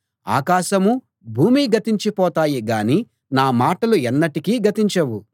ఆకాశమూ భూమీ గతించిపోతాయి గాని నా మాటలు ఎన్నటికీ గతించవు